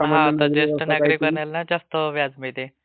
हा आता ज्येष्ठ नागरिकांना ना जास्त व्याज मिळते.